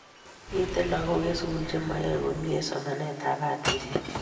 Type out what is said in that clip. Mito lagok eng' sukul che mayae komie eng' somanet ab batishet